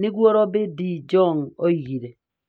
nĩguo Rob de Jong oigire.